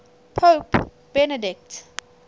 pope benedict